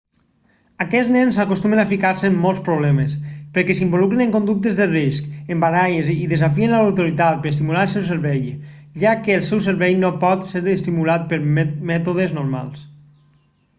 aquests nens acostumen a ficar-se en molts problemes perquè s'involucren en conductes de risc en baralles i desafien a l'autoritat per estimular el seu cervell ja que el seu cervell no pot ser estimulat pels mètodes normals